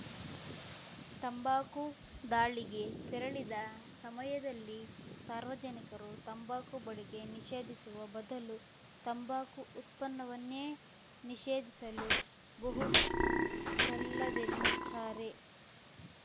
ತಂಬಾಕು ದಾಳಿಗೆ ತೆರಳಿದ ಸಮಯದಲ್ಲಿ ಸಾರ್ವಜನಿಕರು ತಂಬಾಕು ಬಳಕೆ ನಿಷೇಧಿಸುವ ಬದಲು ತಂಬಾಕು ಉತ್ಪನ್ನವನ್ನೇ ನಿಷೇಧಿಸಲು ಬಹುದಲ್ಲವೆನ್ನುತ್ತಾರೆ